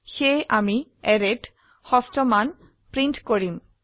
সেয়ে আমি অ্যাৰেত ষষ্ঠ মান প্ৰিন্ট কৰিম